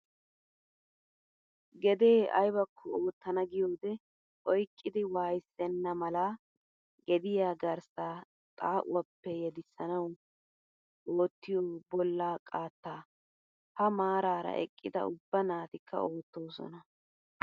Gedee ayibakko oottana giyoode oyiqqidi waayyissenna mala gediyaa garssa xaa"uwaappe yedissanawu oottiyoo bollaa qaattaa. Ha maaraara eqqida ubba naatikaa oottoosona.